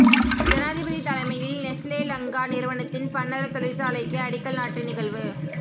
ஜனாதிபதி தலைமையில் நெஸ்லே லங்கா நிறுவனத்தின் பன்னல தொழிற்சாலைக்கு அடிக்கல் நாட்டு நிகழ்வு